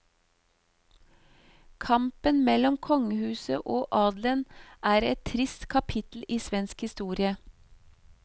Kampen mellom kongehuset og adelen er et trist kapittel i svensk historie.